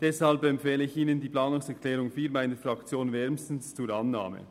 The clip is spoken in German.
Deshalb empfehle ich Ihnen die Planungserklärung 4 meiner Fraktion wärmstens zur Annahme.